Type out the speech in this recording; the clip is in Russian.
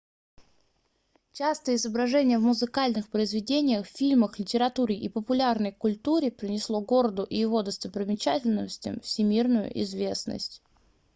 частое изображение в музыкальных произведениях фильмах литературе и популярной культуре принесло городу и его достопримечательностям всемирную известность